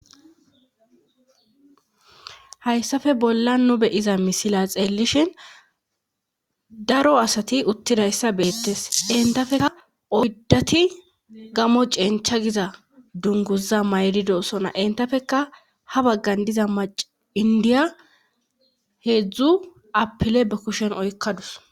Hayssafe bolla nu beyiza misila xeellishin daro asati uttidayssa beettes entafeka oydati gamo cencha giza dunguza maydido sona entafeka ha baggan diza maci indiya heedzdzu apile ba kushen oykkadus.